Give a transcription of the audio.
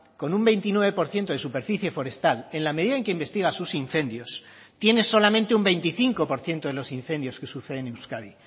con un veintinueve por ciento de superficie forestal en la medida en que investiga sus incendios tiene solamente un veinticinco por ciento de los incendios que suceden euskadi